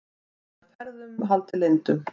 Var ferðunum haldið leyndum